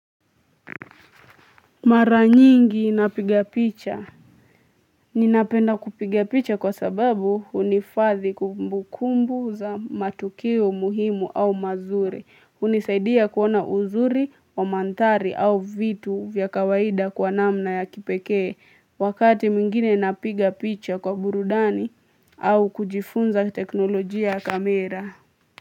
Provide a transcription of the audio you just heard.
Mara nyingi napiga picha. Ninapenda kupiga picha kwa sababu huhifadhi kumbukumbu za matukio muhimu au mazuri, hunisaidia kuona uzuri wa mandhari au vitu vya kawaida kwa namna ya kipekee wakati mwingine napiga picha kwa burudani au kujifunza teknolojia ya kamera.